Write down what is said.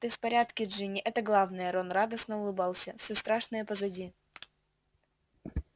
ты в порядке джинни это главное рон радостно улыбался всё страшное позади